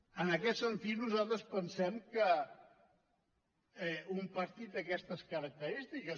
en aquest sentit nosaltres pensem que un partit d’aquestes característiques